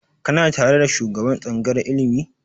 Kana tare da shugaban tsangayar ilimi?